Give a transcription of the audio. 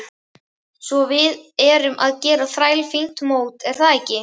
Svo við erum að gera þrælfínt mót er það ekki?